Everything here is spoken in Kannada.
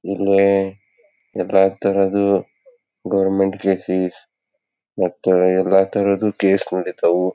ಇಲ್ಲಿ ಗವರ್ನಮೆಂಟ್ ಕ್ಸೇಸ್ ಮತ್ತೆ ಎಲ್ಲಾ ತರದ್ ಕೇಸ್ ನಡಿತ್ವ್.